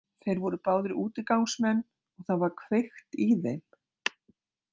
Þeir voru báðir útigangsmenn og það var kveikt í þeim.